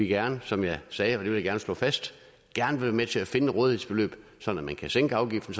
gerne som jeg sagde og det vil jeg gerne slå fast være med til at finde et rådighedsbeløb sådan at man kan sænke afgiften